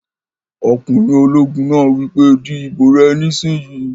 Ọkùnrin ológun náà wí pé "di ìbò rẹ nísìínyi!"